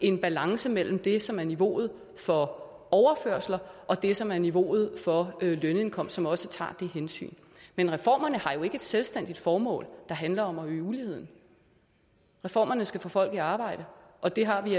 en balance mellem det som er niveauet for overførsler og det som er niveauet for lønindkomst som også tager de hensyn men reformerne har jo ikke et selvstændigt formål der handler om at øge uligheden reformerne skal få folk i arbejde og det har vi